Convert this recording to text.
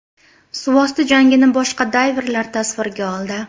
Suvosti jangini boshqa dayverlar tasvirga oldi.